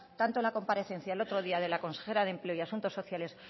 tanto en la comparecencia el otro día de la consejera de empleo y asuntos sociales